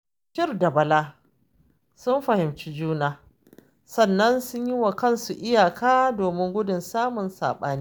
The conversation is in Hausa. Bashir da Bala sun fahimci juna, sannan sun yi wa kansu iyaka, domin gudun samun saɓani